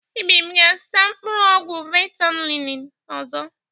Ibim ga-azụta mkpụrụ ọgwụ ventolịn ọzọ.